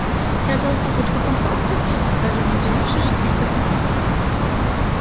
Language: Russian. я взял стопочку компактов даже не удивившись что их так много